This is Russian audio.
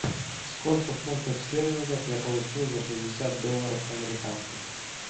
сколько фунтов стерлингов я получу за шестьдесят долларов американских